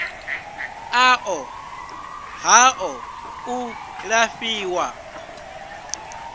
a ṱo ḓaho u lafhiwa